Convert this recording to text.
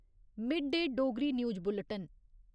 mid day Dogri news Bolton